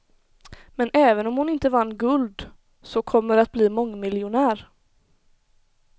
Men även om hon inte vann guld så kommer att bli mångmiljonär.